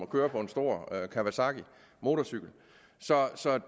køre på en stor kawasaki motorcykel så